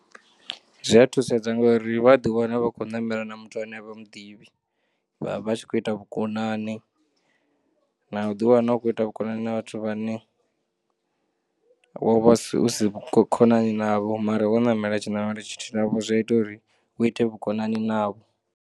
Zwiya thusedzwa ngori wa ḓiwana vhakho namela na muthu ane a vhamuḓivhi vha vha vhatshikho ita vhu konani na u ḓiwna u khoita vhukonani na vhathu vhane wovha usi khonani navho mara wo namela tshi namelwa tshithihi navho zwiya ita uri u ite vhukonani navho.